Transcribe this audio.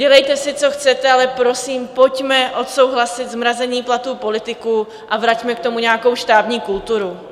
Dělejte si, co chcete, ale prosím, pojďme odsouhlasit zmrazení platů politiků a vraťme k tomu nějakou štábní kulturu.